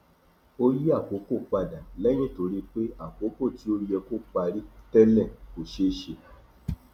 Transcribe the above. ó yí àkókò padà lẹyìn tó rí pé àkókò tí ó yẹ kó parí tẹlẹ kò ṣé ṣe